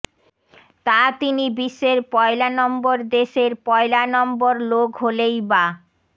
তা তিনি বিশ্বের পয়লা নম্বর দেশের পয়লা নম্বর লোক হলেই বা